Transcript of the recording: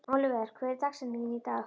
Oliver, hver er dagsetningin í dag?